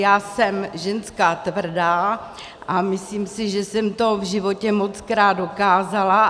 Já jsem ženská tvrdá a myslím si, že jsem to v životě mockrát dokázala.